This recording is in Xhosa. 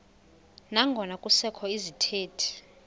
nangona kusekho izithethi